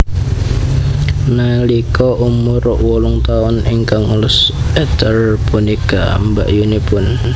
Nalika umur wolung taun ingkang ngurus Ernest punika mbakyunipun